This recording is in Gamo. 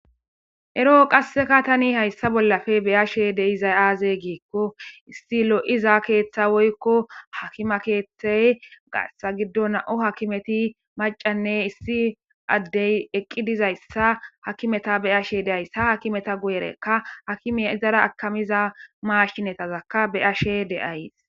Eroo qasseka tani hayssa bollafe beyashe deizay aaze giikko issi lo7iza keeththa woykko hakima keeththey gassa giddo nao hakimeti macanne issi addey eqqi dizayssa hakimeta be ashe deayssa hakimeta guyerekka hakime izara akamiza maashshinetazakka beyashe deays.